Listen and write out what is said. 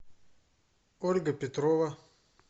ольга петрова